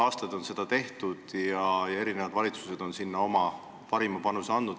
Seda on aastaid tehtud ja erinevad valitsused on sellesse oma parima panuse andnud.